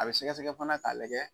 A bɛ sɛgɛsɛgɛ fana k'a lajɛ.